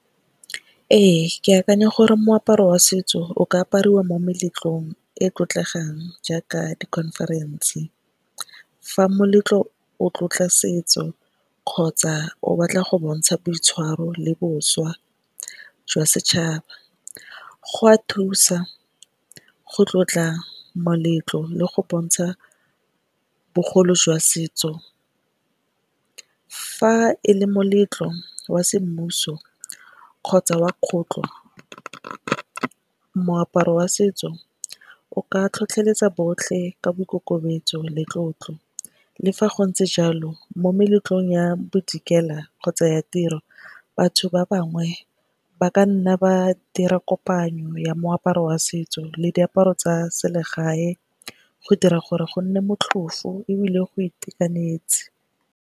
Ee, ke akanya gore moaparo wa setso o ka apariwa mo meletlong e tlotlegang jaaka di-conference. Fa moletlo o tlotla setso kgotsa o batla go bontsha boitshwaro le boswa jwa setšhaba go a thusa go tlotla moletlo le go bontsha bogolo jwa setso. Fa e le moletlo wa semmuso kgotsa wa kgotlo moaparo wa setso o ka tlhotlheletsa botlhe ka boikokobetso le tlotlo. Le fa go ntse jalo mo meletlong ya bodikela kgotsa ya tiro, batho ba bangwe ba ka nna ba dira kopanyo ya moaparo wa setso le diaparo tsa selegae go dira gore go nne motlhofo ebile go itekanetse.